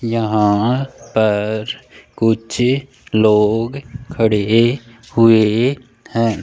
यहाँ पर कुछ लोग खड़े हुए हैं।